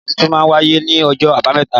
Ìwúyè ọba titun má wàyé ní ojó àbámẹ́ta